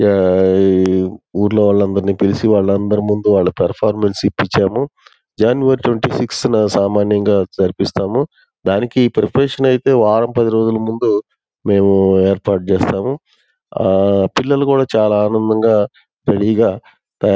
Yeah ఈ ఊర్లో వాళ్లందర్నీ పిలిచి వాళ్లందరి ముందు వాళ్ళ పర్ఫామెన్స్ ఇప్పించాము. జనవరి ట్వంటీ సిక్స్ నా సామాన్యంగా జరిపిస్తాము. దానికి ప్రిపరేషన్ అయితే వరం పది రోజులు ముందు మేము ఏర్పాటు చేస్తాము ఆ పిల్లలు కూడా చాలా ఆనందంగా రెడీ గా--